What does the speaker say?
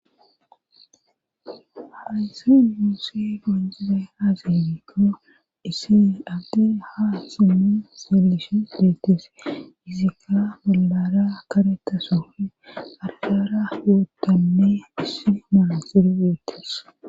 Haysse nuussi qoncidaysse azee gikko issi abti haa simi selishons deetes isika balara kareta sofi argara wuotanne issi malasiro wuotes.